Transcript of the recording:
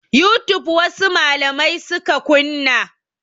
Youtube wasu malamai suka kunna.